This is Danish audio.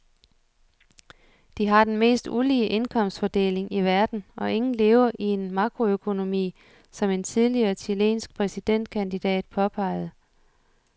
De har den mest ulige indkomstfordeling i verden og ingen lever i en makroøkonomi, som en tidligere chilensk præsidentkandidat påpegede.